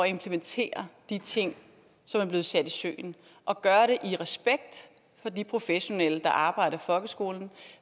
implementere de ting som er blevet sat i søen og gøre det i respekt for de professionelle der arbejder i folkeskolen